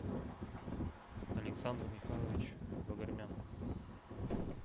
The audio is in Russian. александр михайлович вогормян